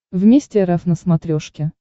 вместе рф на смотрешке